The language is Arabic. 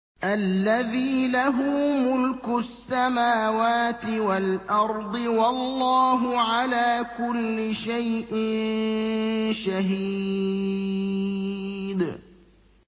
الَّذِي لَهُ مُلْكُ السَّمَاوَاتِ وَالْأَرْضِ ۚ وَاللَّهُ عَلَىٰ كُلِّ شَيْءٍ شَهِيدٌ